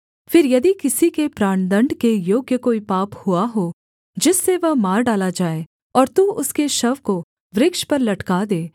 फिर यदि किसी से प्राणदण्ड के योग्य कोई पाप हुआ हो जिससे वह मार डाला जाए और तू उसके शव को वृक्ष पर लटका दे